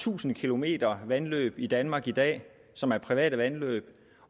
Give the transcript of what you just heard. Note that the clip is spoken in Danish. tusind kilometer vandløb i danmark i dag som er private vandløb